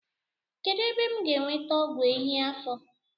Kedụ ebe m ga-enweta ọgwụ ehi afọ?